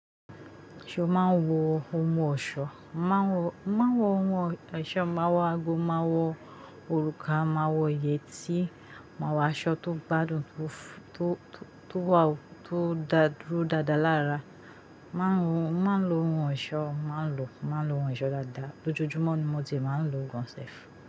Ṣé o máa ń wọ ohun ọ̀ṣọ́? Má n wọ, máa n wọ ohun ẹṣọ́, màá wọ ago, màá wọ òrùka, màá wọ yẹtí, màá wọ aṣọ tó gbádùn, tó, tó, tó wà, tó da to dúró dáadáa lára. Máa ń wọ, máa ń lo ohun ọ̀ṣọ́, màá ń lo, máa ń lo ohun ọ̀ṣọ́ dáadáa. Lójúọjúmọ́ ni mo ti máa ń lo gan sef.